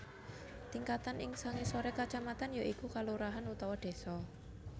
Tingkatan ing sangisoré kacamatan ya iku kalurahan utawa désa